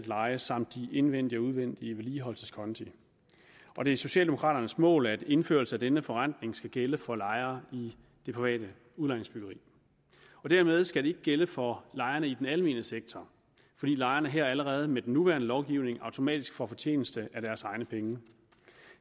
leje samt de indvendige og udvendige vedligeholdelseskonti og det er socialdemokraternes mål at indførelse af denne forrentning skal gælde for lejere i det private udlejningsbyggeri dermed skal det ikke gælde for lejerne i den almene sektor fordi lejerne her allerede med den nuværende lovgivning automatisk får fortjeneste af deres egne penge